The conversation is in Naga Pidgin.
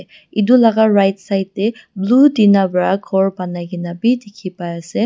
edu laka right side tae blue tina pra khor banai kaena bidikhiase.